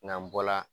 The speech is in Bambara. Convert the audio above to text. N'an bɔla